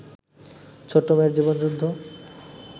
ছোট্ট মেয়ের জীবনযুদ্ধ